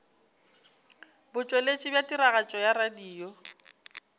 botšweletši bja tiragatšo ya radio